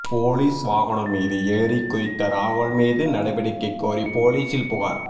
police வாகனம் மீது ஏறிக் குதித்த ராகுல் மீது நடவடிக்கை கோரி போலீசில் புகார்